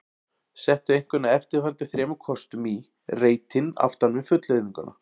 Settu einhvern af eftirfarandi þremur kostum í reitinn aftan við fullyrðinguna